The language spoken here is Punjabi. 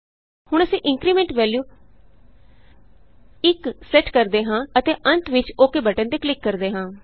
ਹੁਣ ਅਸੀਂ Incrementਵੈਲਯੂ 1ਸੈੱਟ ਕਰਦੇ ਹਾਂ ਅਤੇ ਅੰਤ ਵਿਚ OKਬਟਨ ਤੇ ਕਲਿਕ ਕਰਦੇ ਹਾਂ